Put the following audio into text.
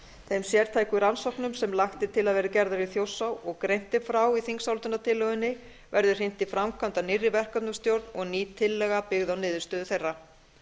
þeim sértæku rannsóknum sem lagt er til að verði gerðar í þjórsá og greint er frá í þingsályktunartillögunni verði hrint í framkvæmd af nýrri verkefnastjórn og ný tillaga byggð á niðurstöðu þeirra